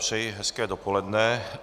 Přeji hezké dopoledne.